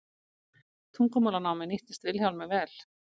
tungumálanámið nýttist vilhjálmi vel